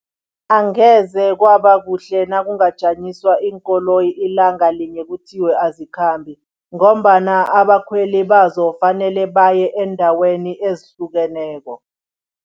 Angeze kwaba kuhle nakungajanyiswa iinkoloyi ilanga linye kuthiwe azikhambi ngombana abakhweli bazo fanele baye eendaweni ezihlukeneko.